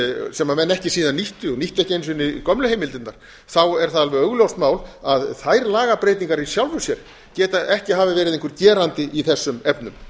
sem menn ekki síðan nýttu og nýttu ekki einu sinni gömlu heimildirnar þá er það alveg augljóst mál að þær lagabreytingar í sjálfu sér geta ekki hafa verið einhver gerandi í þessum efnum